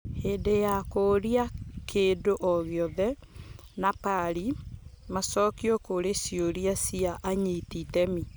Hĩndĩ ya kũũria kĩndũ o-gĩothe Napari : macokio kũrĩ ciũria cia anyiti iteme